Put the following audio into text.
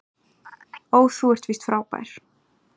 Ó þú ert víst frábær